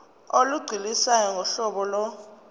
olugculisayo ngohlobo lo